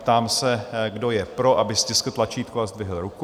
Ptám se, kdo je pro, aby stiskl tlačítko a zdvihl ruku.